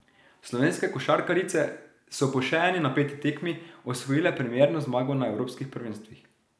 Slovenske košarkarice so po še eni napeti tekmi osvojile premierno zmago na evropskih prvenstvih.